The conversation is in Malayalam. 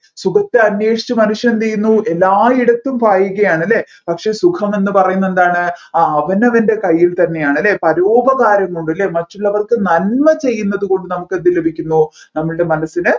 സുഖത്തെ അന്വേഷിച്ച് മനുഷ്യൻ എന്ത് ചെയ്യുന്നു എല്ലായിടത്തും പായുകയാണ് അല്ലെ പക്ഷെ സുഖം എന്ന് പറയുന്നത് എന്താണ് ആ അവനവൻെറ കൈയിൽ താന്നെയാണ് അല്ലെ പരോപകാരം കൊണ്ട് അല്ലെ മറ്റുള്ളവർക്ക് നന്മ ചെയ്യുന്നത് കൊണ്ട് നമ്മുക്ക് എന്ത് ലഭിക്കുന്നു നമ്മൾടെ മനസ്സിന്